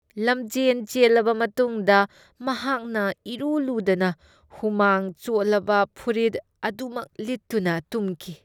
ꯂꯝꯖꯦꯟ ꯆꯦꯜꯂꯕ ꯃꯇꯨꯡꯗ ꯃꯍꯥꯛꯅ ꯏꯔꯨ ꯂꯨꯗꯅ ꯍꯨꯃꯥꯡ ꯆꯣꯠꯂꯕ ꯐꯨꯔꯤꯠ ꯑꯗꯨꯃꯛ ꯂꯤꯠꯇꯨꯅ ꯇꯨꯝꯈꯤ ꯫